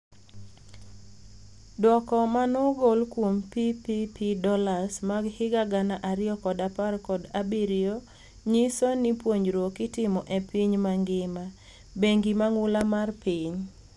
Duoko manoogol kuom PPP dollars mag higa gana ariyo kod apar kod abirionyiso ni puonjruok itimo e piny mangima, bengi mang'ula mar piny.